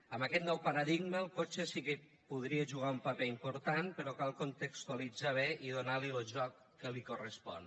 en aquest nou paradigma el cotxe sí que hi podria jugar un paper important però cal contextualitzar ho bé i donar li lo joc que li correspon